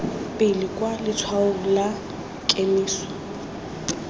pele kwa letshwaong la kemiso